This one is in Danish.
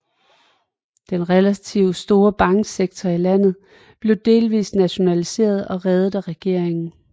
Den relativt store banksektor i landet blev delvist nationaliseret og reddet af regeringen